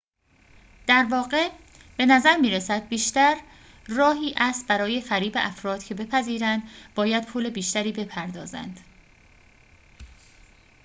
در واقع بنظر می‌رسد بیشتر راهی است برای فریب افراد که بپذیرند باید پول بیشتری بپردازند